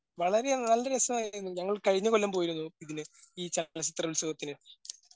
വളരെ നല്ലരസമായിരുന്നു ഞങ്ങൾ കഴിഞ്ഞ കൊല്ലം പോയിരുന്നു ഇതിന് ഈ ചലചിത്രോത്സവത്തിന്.